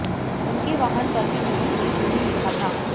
उनके वाहन पर भी दिल्ली पुलिस नहीं लिखा था